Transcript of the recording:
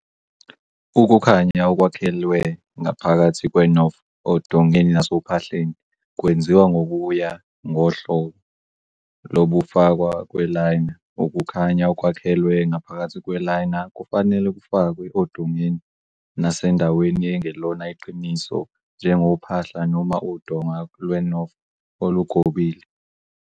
Ukukhanya okwakhelwe ngaphakathi kwe-Knauf odongeni nasophahleni kwenziwa ngokuya ngohlobo lokufakwa kwe-liner, ukukhanya okwakhelwe ngaphakathi kwe-liner kufanele kufakwe odongeni nasendaweni engelona iqiniso njengophahla noma udonga Lwe-Knauf olugobile.